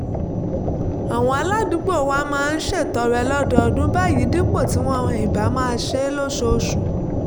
àwọn aládùúgbò wa máa ń ṣètọrẹ lọ́dọọdún báyìí dípò tí wọn ì bá fi máa ṣe é lóṣooṣù